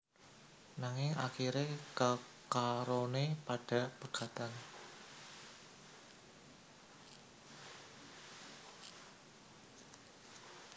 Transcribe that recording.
Nanging akiré kekaroné padha pegatan